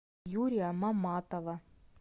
юрия маматова